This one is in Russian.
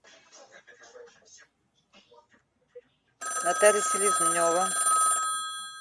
наталья селезнева